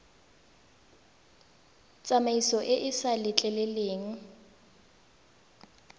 tsamaiso e e sa letleleleng